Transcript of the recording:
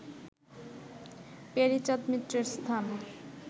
প্যারীচাঁদ মিত্রের স্থান